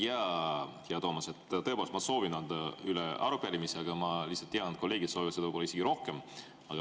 Jaa, hea Toomas, tõepoolest ma soovin anda üle arupärimise, aga ma lihtsalt tean, et kolleegid soovivad seda isegi rohkem.